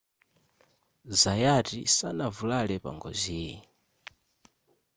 zayati sanavulale pa ngoziyi